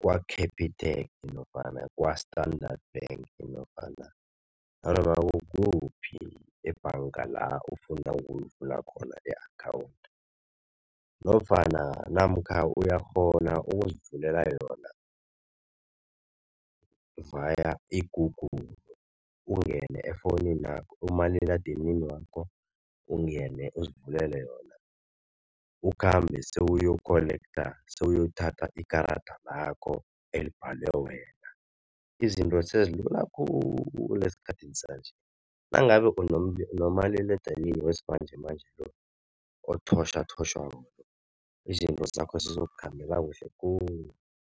kwa-Capitec nofana kwa-Standard Bank nofana nanoma kukuphi ebhanga la ofuna ukuyivula khona i-akhawundi nofana namkha uyakghona ukuzivulela yona via i-Google. Ungene efonini umaliledinini wakho, ungene uzivulele yona ukhambe sewuyokholektha sewuyothatha ikarada lakho elibhalwe wena. Izinto sezilula khulu esikhathini sanje nangabe nomaliledinini wesimanje manje lo othotjhwathotjhwako izinto zakho zizokukhambela kuhle khulu.